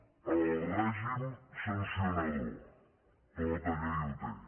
el règim sancionador tota llei el té